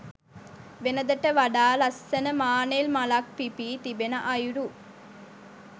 වෙනදාට වඩා ලස්සන මානෙල් මලක් පිපී තිබෙන අයුරු